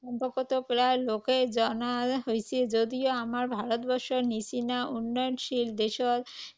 সম্পৰ্কতো প্ৰায় লোকেই জনা হৈছে যদিও আমাৰ ভাৰতবৰ্ষৰ নিচিনা উন্নয়নশীল দেশৰ